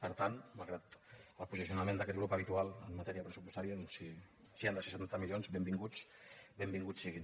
per tant malgrat el posicionament d’aquest grup habitual en matèria pressupostària doncs si han de ser setanta milions benvinguts siguin